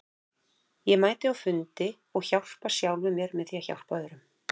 Ég mæti á fundi og hjálpa sjálfum mér með því að hjálpa öðrum.